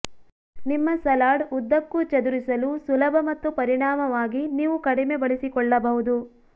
ನಿಮ್ಮ ಸಲಾಡ್ ಉದ್ದಕ್ಕೂ ಚದುರಿಸಲು ಸುಲಭ ಮತ್ತು ಪರಿಣಾಮವಾಗಿ ನೀವು ಕಡಿಮೆ ಬಳಸಿಕೊಳ್ಳಬಹುದು